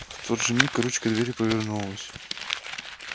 в тот же миг ручка двери повернулась